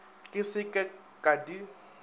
ke se ke ka di